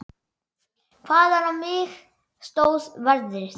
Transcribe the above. Hvaðan á mig stóð veðrið.